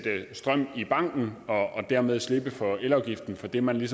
strøm i banken og dermed slippe for elafgiften for det man